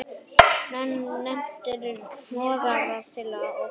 Nettir hnoðrar til og frá.